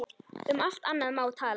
Um allt annað má tala.